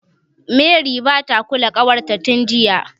Mary bata kula ƙawarta tin jiya.